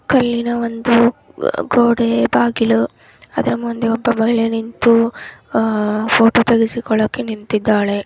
ಕಲ್ಲಿನ ಒಂದು ಗೋಡೆ ಬಾಗಿಲು ಅದ್ರ ಮುಂದೆ ಒಬ್ಬ ಒಳ್ಳೆ ನಿಂತು ಅಹ್ ಫೋಟೋ ತೆಗೆಸಿಕೊಳ್ಳೋಕೆ ನಿಂತಿದ್ದಾಳೆ.